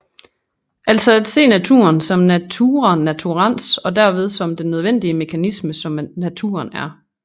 Altså at se naturen som natura naturans og derved som den nødvendige mekanisme som naturen er